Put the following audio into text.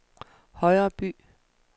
Højreby